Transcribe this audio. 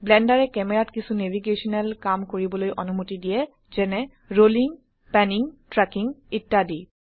ব্লেন্ডাৰে ক্যামেৰাত কিছু ন্যাভিগেশনেল কাম কৰিবলৈ অনুমতি দিয়ে যেনে ৰোলিং প্যানিং ট্ৰ্যাকিং ইত্যাদি